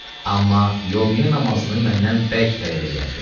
Amma yomiyyə namazını məndən bərk tələb eləyərdi.